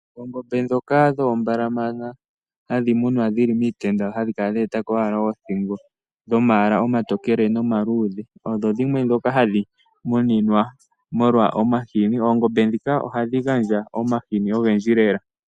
Oongombe ndhoka dhoombalamana hadhi munwa dhili miitenda, ohadhi kala dha etako ashike oothingo. Odhina omaala omatokele nomaluudhe, odho dhimwe ndhoka hadhi muninwa molwa omahini. Oongombe ndika ohadhi gandja omahini ogendji lela.